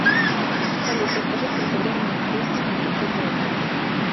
салют расскажи сколько времени в бресте и в других городах